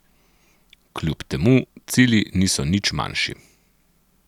Kljub temu cilji niso nič manjši.